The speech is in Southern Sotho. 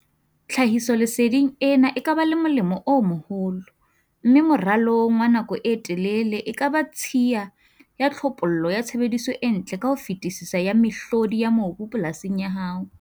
Tlhahisoleseding ena e ka ba le molemo o moholo, mme moralong wa nako e telele e ka ba tshiya ya tlhophollo ya tshebediso e ntle ka ho fetisisa ya mehlodi ya mobu polasing ya hao.